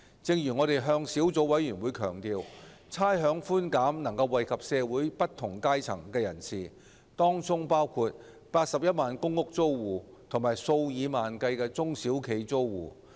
正如我們向小組委員會強調，差餉寬減能惠及社會不同階層人士，當中包括81萬公共出租房屋租戶和數以萬計的中小型企業租戶。